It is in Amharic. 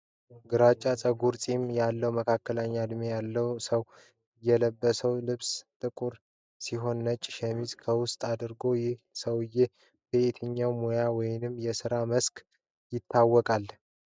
ግራጫ ጸጉርና ፂም ያለው፣ መካከለኛ ዕድሜ ያለው ሰው የለበሰው ልብስ ጥቁር ሲሆን ነጭ ሸሚዝ ከውስጥ አድርጓል። ይህ ሰው በየትኛው ሙያ ወይም የሥራ መስክ ይታወቃል?